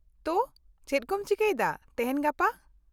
ᱛᱚ, ᱪᱮᱫ ᱠᱚᱢ ᱪᱤᱠᱟᱹᱭᱮᱫᱟ ᱛᱮᱦᱮᱧ ᱜᱟᱯᱟ?